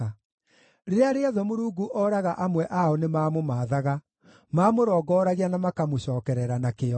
Rĩrĩa rĩothe Mũrungu ooraga amwe ao nĩmamũmaathaga; mamũrongoragia na makamũcookerera na kĩyo.